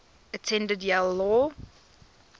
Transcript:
attended yale law